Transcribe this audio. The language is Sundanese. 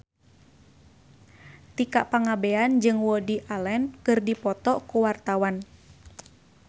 Tika Pangabean jeung Woody Allen keur dipoto ku wartawan